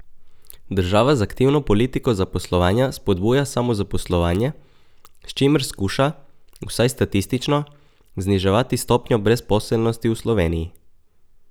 Država z aktivno politiko zaposlovanja spodbuja samozaposlovanje, s čimer skuša, vsaj statistično, zniževati stopnjo brezposelnosti v Sloveniji.